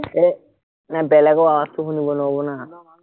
এৰ বেলেগৰ আৱাজটো শুনিব না